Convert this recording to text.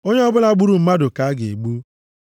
“ ‘Onye ọbụla gburu mmadụ ka a ga-egbu.